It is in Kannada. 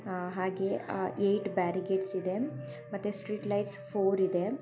ಆ ಹಾಗೆಯೇ ಆ ಎಯಿಟ್ ಬ್ಯಾರಿಗೇಟ್ಸ್ ಇದೆ ಮತ್ತೆ ಸ್ಟ್ರೀಟ್ ಲೈಟ್ಸ್ ಫೋರ್ ಇದೆ.